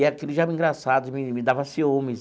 E aquilo já era engraçado, me me dava ciúmes.